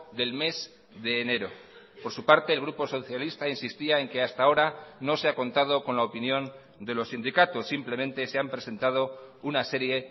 del mes de enero por su parte el grupo socialista insistía en que hasta ahora no se ha contado con la opinión de los sindicatos simplemente se han presentado una serie